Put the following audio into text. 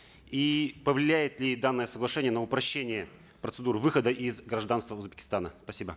и повлияет ли данное соглашение на упрощение процедур выхода из гражданства узбекистана спасибо